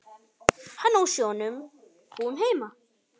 Hann á sjónum, hún heima.